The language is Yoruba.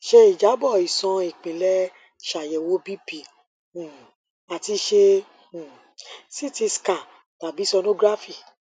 ṣe ijabọ iṣan ipilẹ ṣayẹwo bp um ati ṣe um ct scan tabi sonography